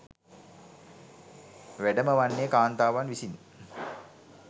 වැඩම වන්නේ කාන්තාවන් විසින්